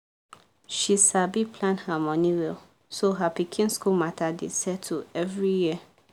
she sabi plan her money well so her pikin school matter dey settled every year